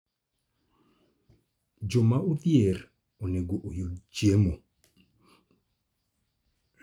Joma odhier onego oyud chiemo.